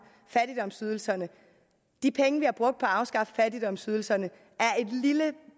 fattigdomsydelserne de penge vi har brugt på at afskaffe fattigdomsydelserne